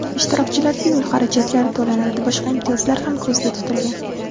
Ishtirokchilarga yo‘l xarajatlari to‘lanadi, boshqa imtiyozlar ham ko‘zda tutilgan.